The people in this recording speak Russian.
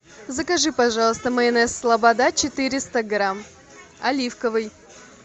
закажи пожалуйста майонез слобода четыреста грамм оливковый